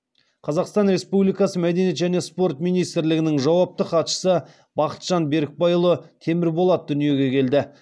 қазақстан республикасы мәдениет және спорт министрлігінің жауапты хатшысы бақытжан берікбайұлы темірболат дүниеге келді